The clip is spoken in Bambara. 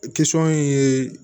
in ye